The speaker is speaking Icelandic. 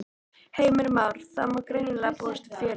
Heimir Már: Það má greinilega búast við fjöri?